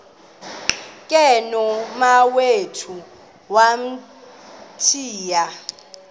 ke nomawethu wamthiya